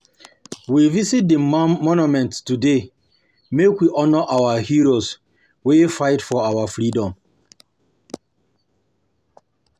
We visit di monument today make we honour our heroes wey fight for our freedom